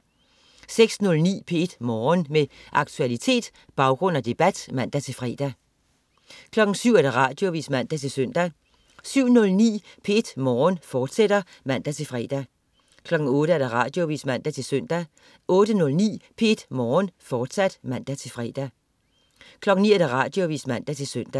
06.09 P1 Morgen. Med aktualitet, baggrund og debat (man-fre) 07.00 Radioavis (man-søn) 07.09 P1 Morgen, fortsat (man-fre) 08.00 Radioavis (man-søn) 08.09 P1 Morgen, fortsat (man-fre) 09.00 Radioavis (man-søn)